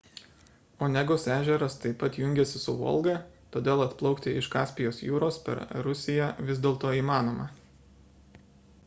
onegos ežeras taip pat jungiasi su volga todėl atplaukti iš kaspijos jūros per rusija vis dėlto įmanoma